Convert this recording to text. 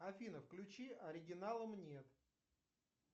афина включи оригиналам нет